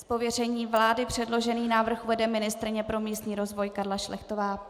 Z pověření vlády předložený návrh uvede ministryně pro místní rozvoj Karla Šlechtová.